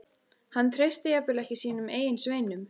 Hann treysti jafnvel ekki sínum eigin sveinum.